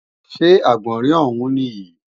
Ṣé Àgbọ̀nrín ọ̀ún nìyí?